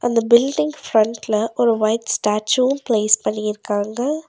அந்த பில்டிங் ஃபிரண்ட்ல ஒரு வைட் ஸ்டாச்சுவு பிளேஸ் பண்ணிருக்காங்க.